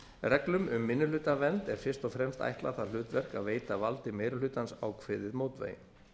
reglum um minnihlutavernd er fyrst og fremst ætlað það hlutverk að veita valdi meiri hlutans ákveðið mótvægi